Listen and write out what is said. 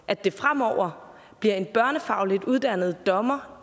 at det fremover bliver en børnefagligt uddannet dommer